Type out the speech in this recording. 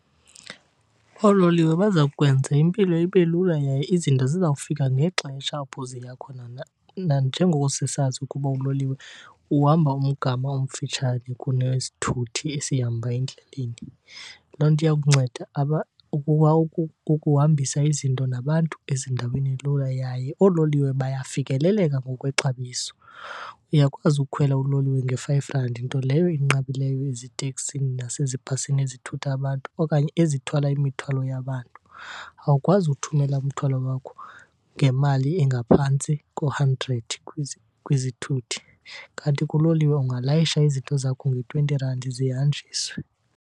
Oololiwe baza kwenza impilo ibe lula yaye izinto zizawufika ngexesha apho ziya khona nanjengoko sisazi ukuba uloliwe uhamba umgama omfitshane kunesithuthi esihamba endleleni. Loo nto iyakunceda ukuba ukuhambisa izinto nabantu ezindaweni lula, yaye oololiwe bayafikeleleka ngokwexabiso. Uyakwazi ukukhwela uloliwe nge-five rand nto leyo enqabileyo eziteksini nasezibhasini ezithutha abantu okanye ezithwala imithwalo yabantu. Awukwazi uthumela umthwalo wakho ngemali engaphantsi ko-hundred kwizithuthi, kanti kuloliwe ungalayisha izinto zakho nge-twenty rand zihanjiswe.